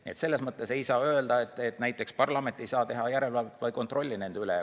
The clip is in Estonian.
Nii et selles mõttes ei saa öelda, et näiteks parlament ei saa teha järelevalvet või kontrolli nende üle.